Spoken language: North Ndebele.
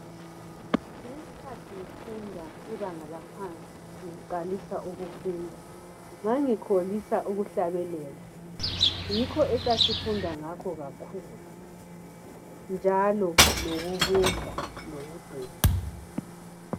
Ngesikhathi ngifunda ibanga laphansi ngiqalisa ukufunda ngangikholisa ukuhlabelela. Yikho esasifunda ngakho kakhulu njalo lokubumba lokudweba.